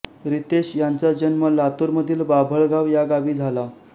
रितेश यांचा जन्म लातूरमधील बाभळगाव या गावी झाला